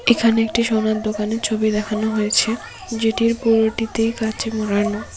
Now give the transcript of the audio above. এখানে একটি সোনার দোকানের ছবি দেখানো হয়েছে যেটির পুরোটিতে কাচে মোড়ানো।